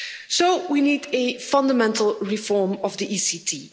So we need a fundamental reform of the ECT.